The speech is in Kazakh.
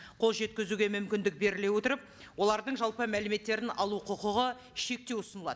қолжеткізуге мүмкіндік беріле отырып олардың жалпы мәліметтерін алу құқығы шектеу ұсынылады